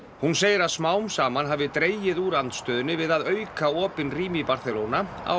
hún segir að smám saman hafi dregið úr andstöðunni við að auka opin rými í Barcelona á